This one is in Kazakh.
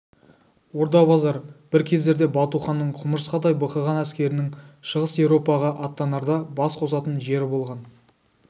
орда-базар бір кездерде бату ханның құмырсқадай бықыған әскерінің шығыс европаға аттанарда бас қосатын жері болған